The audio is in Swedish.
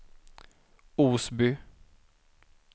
Osby